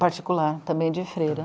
Particular, também de freira.